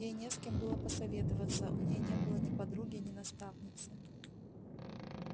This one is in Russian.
ей не с кем было посоветоваться у неё не было ни подруги ни наставницы